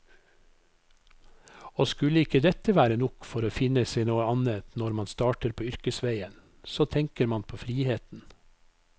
Og skulle ikke dette være nok for å finne seg noe annet når man starter på yrkesveien, så tenker man på friheten.